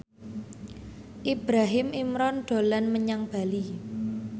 Ibrahim Imran dolan menyang Bali